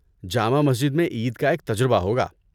جامع مسجد میں عید کا ایک تجربہ ہوگا۔